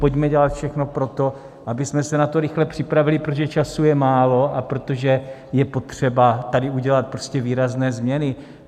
Pojďme dělat všechno pro to, abychom se na to rychle připravili, protože času je málo a protože je potřeba tady udělat prostě výrazné změny.